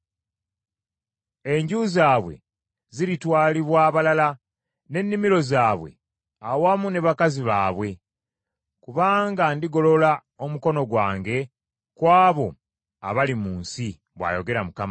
Enju zaabwe ziritwalibwa abalala, n’ennimiro zaabwe awamu ne bakazi baabwe; kubanga ndigolola omukono gwange ku abo abali mu nsi,” bw’ayogera Mukama .